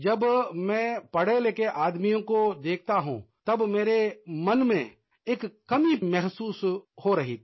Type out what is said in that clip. जब मैं पढ़ेलिखे आदमियों को देखता हूँ तब मेरे मन में एक कमी महसूस हो रही थी